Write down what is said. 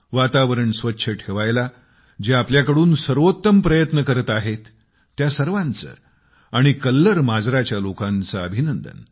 वातावरण स्वच्छ ठेवायला जे आपल्याकडून सर्वोत्तम प्रयत्न करत आहेत त्या सर्वाना आणि कल्लर माजराच्या लोकांचे अभिनंदन